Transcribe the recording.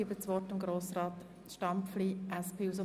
Ich erteile Grossrat Stampfli das Wort.